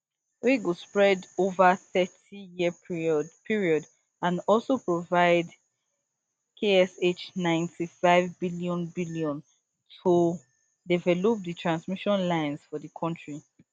wey go spread ova thirtyyear period and also provide kshninety-five billion billion to develop di transmission lines for di country